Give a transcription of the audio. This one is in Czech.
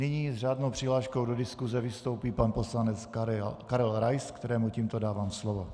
Nyní s řádnou přihláškou do diskuse vystoupí pan poslanec Karel Rais, kterému tímto dávám slovo.